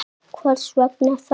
Hvers vegna þá?